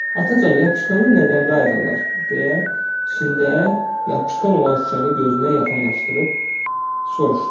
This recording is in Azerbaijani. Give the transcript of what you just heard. Atacan, yapışqanı nədən qayrırlar, deyə içində yapışqan olan şüşəni gözünə yaxınlaşdırıb soruşdu.